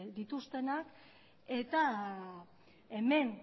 dituztenak eta hemen